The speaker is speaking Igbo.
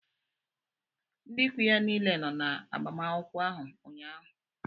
Ndị ikwu ya niile nọ na agbamakwụkwọ áhù ụnyaahụ